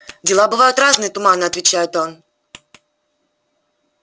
дела бывают разные туманно отвечает он